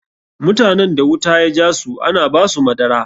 Mutanen da wuta ya jasu ana ba su madara.